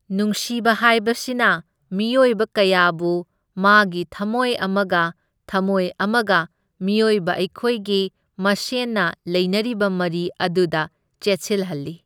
ꯅꯨꯡꯁꯤꯕ ꯍꯥꯏꯕꯁꯤꯅ ꯃꯤꯑꯣꯏꯕ ꯀꯌꯥꯕꯨ ꯃꯥꯒꯤ ꯊꯝꯃꯣꯏ ꯑꯃꯒ ꯊꯝꯃꯣꯏ ꯑꯃꯒ ꯃꯤꯑꯣꯏꯕ ꯑꯩꯈꯣꯏꯒꯤ ꯃꯁꯦꯟꯅ ꯂꯩꯅꯔꯤꯕ ꯃꯔꯤ ꯑꯗꯨꯗ ꯆꯦꯠꯁꯤꯜꯍꯜꯂꯤ꯫